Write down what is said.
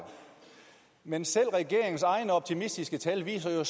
men selv regeringens egne optimistiske tal viser jo